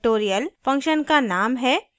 factorial function का name है